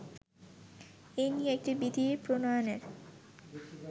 এ নিয়ে একটি বিধি প্রণয়নের